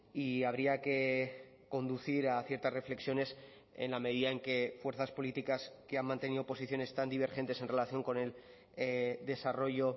y habría que conducir a ciertas reflexiones en la medida en que fuerzas políticas que han mantenido posiciones tan divergentes en relación con el desarrollo